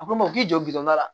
A ko n ma k'i jɔ don da la